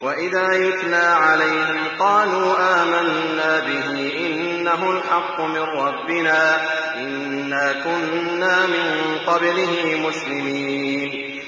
وَإِذَا يُتْلَىٰ عَلَيْهِمْ قَالُوا آمَنَّا بِهِ إِنَّهُ الْحَقُّ مِن رَّبِّنَا إِنَّا كُنَّا مِن قَبْلِهِ مُسْلِمِينَ